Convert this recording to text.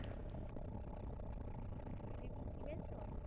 জিলেবী কিনেছো?